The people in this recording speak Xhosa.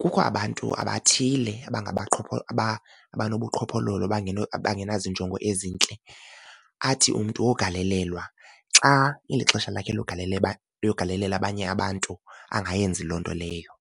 kukho abantu abathile abanobuqhophololo abangenazo injongo ezintle athi umntu wogalelelwa xa ilixesha lakhe logalelela logalalela abanye abantu angayenzi loo nto leyo.